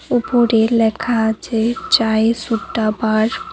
উপরে লেখা আছে চায় সুট্টা বার ।